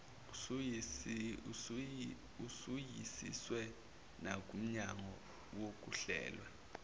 usuyisiwe nakumnyango wokuhlelwa